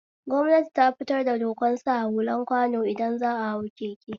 Gwamnati tafitar da dokan sa hulan kwano idan za'a hau keke